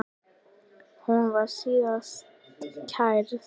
Hún var síðan kærð.